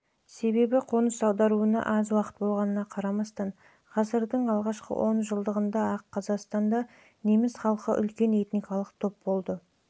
себебі қоныс аударуына аз уақыт болғанына қарамастан ғасырдың алғашқы он жылдығында-ақ қазақстанда неміс халқы үлкен этникалық